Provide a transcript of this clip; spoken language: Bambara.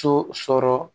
So sɔrɔ